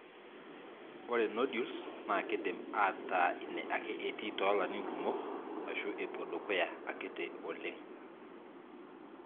Ore Nodules na kindim ata ine ake etii tolarin kumok ashu epuo dukuya akiti oleng.